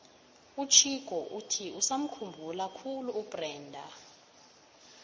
uchicco uthi usamukhumbula khulu ubrenda